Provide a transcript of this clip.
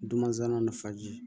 Dunanzanw ni nafaji